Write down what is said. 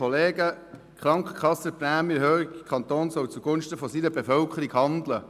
Krankenkassenprämienerhöhung: Der Kanton soll zugunsten seiner Bevölkerung handeln!